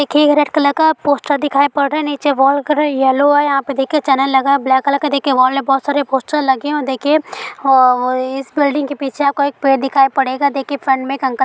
देखिए ये red colour का पोस्टर दिखाई पड़ रहा है। नीचे वॉल का कलर येलो है। यहाँ पे देखिए चैनल लगा हुआ है ब्लैक कलर का देखिए वॉल मे बहुत सारे पोस्टर लगे है देखिए अ इस बिल्डिंग के पीछे आपको एक पेड़ दिखाई पड़ेगा देखिए फ्रन्ट मे एक अंकल --